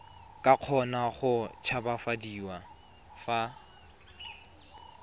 ka kgona go tshabafadiwa fa